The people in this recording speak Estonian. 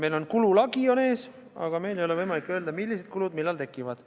Meil on kululagi ees, aga meil ei ole võimalik öelda, millised kulud millal tekivad.